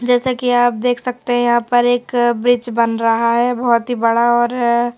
जैसा कि आप देख सकते है यहां पर एक ब्रीज बन रहा है बहोत ही बड़ा और--